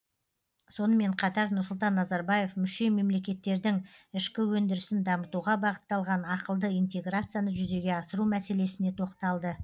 сонымен қатар нұрсұлтан назарбаев мүше мемлекеттердің ішкі өндірісін дамытуға бағытталған ақылды интеграцияны жүзеге асыру мәселесіне тоқталды